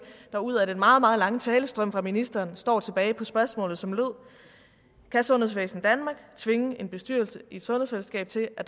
der ud af den meget meget lange talestrøm fra ministeren står tilbage på spørgsmålet som lød kan sundhedsvæsen danmark tvinge en bestyrelse i et sundhedsfællesskab til at